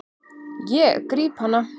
Ég gríp hana.